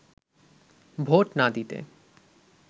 vote না দিতে